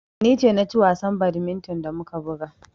Ni ce na ci wasan badminton da muka buga.